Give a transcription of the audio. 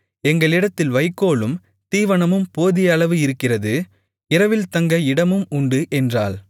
எங்களிடத்தில் வைக்கோலும் தீவனமும் போதிய அளவு இருக்கிறது இரவில் தங்க இடமும் உண்டு என்றாள்